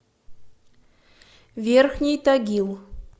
верхний тагил